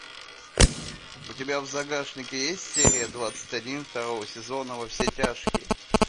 у тебя в загашнике есть серия двадцать один второго сезона во все тяжкие